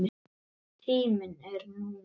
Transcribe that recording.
Tíminn er núna.